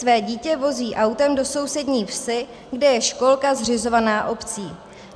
Své dítě vozí autem do sousední vsi, kde je školka zřizovaná obcí.